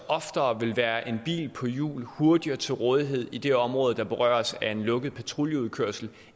oftere vil være en bil på hjul hurtigere til rådighed i de områder der så berøres af en lukket patruljeudkørsel